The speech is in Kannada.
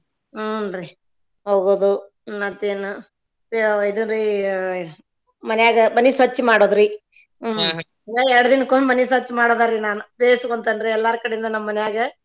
ಹುನ್ರೀ ಹೋಗುದು ಮತ್ತೇನ ಇದುರಿ ಮನ್ಯಾಗ ಮನಿ ಸ್ವಚ್ಛ ಮಾಡೋದ್ರಿ ಹುಂ ಮನ್ಯಾಗ ಎರ್ಡ್ ದಿನಕ್ಕೊಮ್ಮೆ ಮನಿ ಸ್ವಚ್ಛ ಮಾಡೋದ್ರಿ ನಾನ್ ಬೇಸಿಗೊಂತೆನ್ರಿ ಎಲ್ಲಾರ್ದು ಕಡೆಯಿಂದ ನಮ್ಮನ್ಯಾಗ.